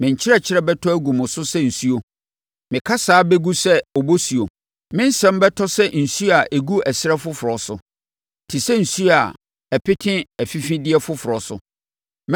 Me nkyerɛkyerɛ bɛtɔ agu mo so sɛ nsuo; me kasa bɛgu sɛ obosuo. Me nsɛm bɛtɔ sɛ osuo a ɛgu ɛserɛ foforɔ so, te sɛ nsuo a ɛpete afifideɛ foforɔ so.